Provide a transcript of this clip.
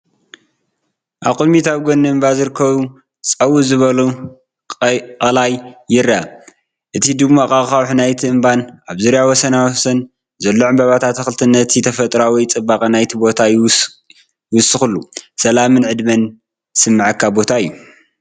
ኣብ ቅድሚት ኣብ ጎኒ እምባ ዝርከብ ፀው ዝበለ ቀላይ ይርአ። እቲ ድሙቕ ኣኻውሕ ናይቲ እምባን ኣብ ዙርያ ወሰናስኑ ዘሎ ዕምባባታት ኣትክልትን ነቲ ተፈጥሮኣዊ ጽባቐ ናይቲ ቦታ ይውስኸሉ። ሰላምን ዕድመን ዝስምዓካ ቦታ እዩ።